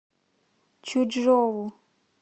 чучжоу